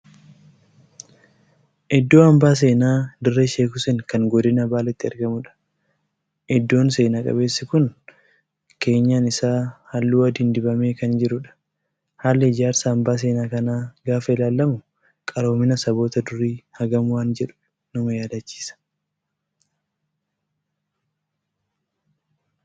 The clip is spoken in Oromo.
Iddoo hambaa seenaa dirree Sheek Huseen kan godina baaleetti argamuudha. Iddoon seenaa qabeessii kun keenyan isaa halluu adiin dibamee kan jiruudha. Haalli ijaarsa hambaa seenaa kanaa gaafa ilaalamu qaroominni saboota durii hagam waan jedhu na yaadachiisa.